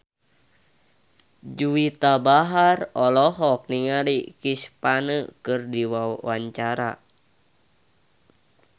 Juwita Bahar olohok ningali Chris Pane keur diwawancara